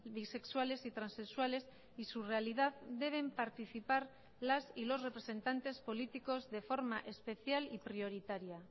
bisexuales y transexuales y su realidad deben participar las y los representantes políticos de forma especial y prioritaria